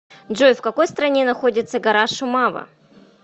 джой в какой стране находится гора шумава